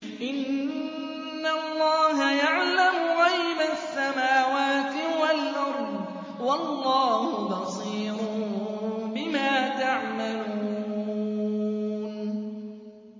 إِنَّ اللَّهَ يَعْلَمُ غَيْبَ السَّمَاوَاتِ وَالْأَرْضِ ۚ وَاللَّهُ بَصِيرٌ بِمَا تَعْمَلُونَ